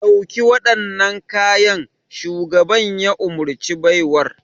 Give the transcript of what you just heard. Ɗauki waɗannan kayan! shugaban ya umarci baiwar.